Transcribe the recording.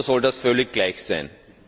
Oder soll das völlig gleich sein?